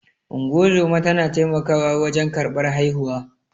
Ungozoma tana taimakawa wajen karɓar haihuwa.